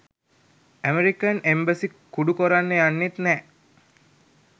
American embassy කුඩු කොරන්න යන්නෙත් නැහැ